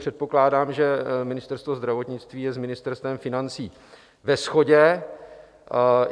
Předpokládám, že Ministerstvo zdravotnictví je s Ministerstvem financí ve shodě.